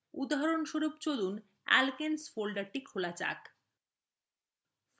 উদাহরণস্বরূপ চলুন alkenes folder খুলুন